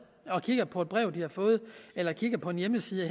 og kigger på et brev de har fået eller kigger på en hjemmeside